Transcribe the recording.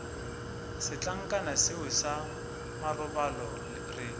setlankana seo sa marobalo re